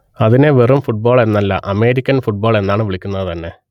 അതിനെ വെറും ഫുട്ബോൾ എന്നല്ല അമേരിക്കൻ ഫുട്ബോൾ എന്നാണ് വിളിക്കുന്നത് തന്നെ